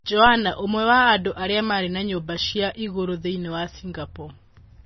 Joanna, ũmwe wa andũ arĩa marĩ na nyũmba cia igũrũ thĩinĩ wa Singapore